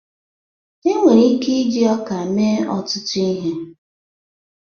Enwere ike iji ọka mee ọtụtụ ihe.